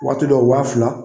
Waati dɔw wa fila.